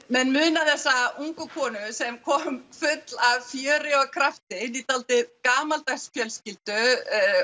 menn muna þessa ungu konu sem kom full af fjöri og krafti inn í dálítið gamaldags fjölskyldu